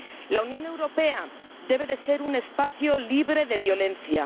La Unión Europea debe ser un espacio libre de violencia.